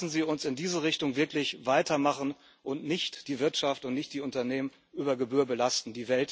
Lassen Sie uns in dieser Richtung wirklich weitermachen und nicht die Wirtschaft und nicht die Unternehmen über Gebühr belasten.